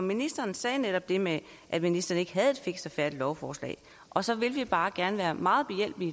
ministeren sagde netop det med at ministeren ikke havde et fikst og færdigt lovforslag og så vil vi bare gerne være meget behjælpelige